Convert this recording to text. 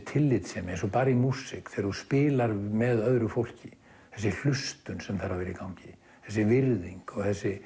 tillitssemi eins og í músík þegar þú spilar með öðru fólki þessi hlustun sem þarf að vera í gangi þessi virðing og þessi